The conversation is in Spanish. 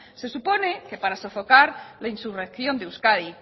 se supone que para sofocar la insurrección de euskadi